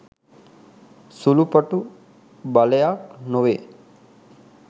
සුළුපටු බලයක් නොවේ.